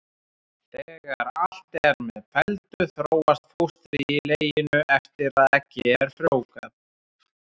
Þegar allt er með felldu þróast fóstrið í leginu eftir að eggið er frjóvgað.